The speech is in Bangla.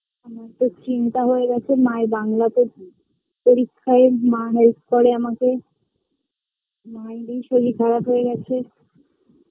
আমার খুব চিন্তা হয় গেছে মাএর বাংলাতে নিয়ে পরীক্ষায় মা help করে আমাকে মা এরই শরীর খরাপ হয় গেছে